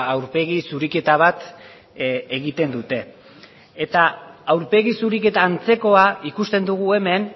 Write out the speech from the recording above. aurpegi zuriketa bat egiten dute eta aurpegi zuriketa antzekoa ikusten dugu hemen